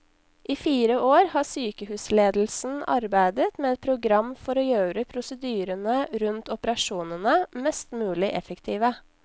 I fire år har sykehusledelsen arbeidet med et program for å gjøre prosedyrene rundt operasjonene mest mulig effektive.